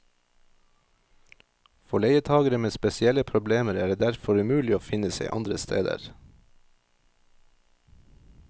For leietagere med spesielle problemer er det derfor umulig å finne seg andre steder.